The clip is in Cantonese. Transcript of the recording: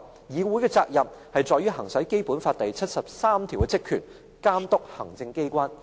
議會的責任在於行使《基本法》第七十三條的職權，監督行政機關。